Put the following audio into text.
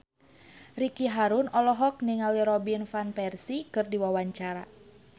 Ricky Harun olohok ningali Robin Van Persie keur diwawancara